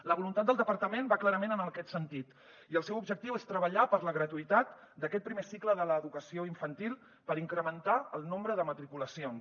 la voluntat del departament va clarament en aquest sentit i el seu objectiu és treballar per la gratuïtat d’aquest primer cicle de l’educació infantil per incrementar el nombre de matriculacions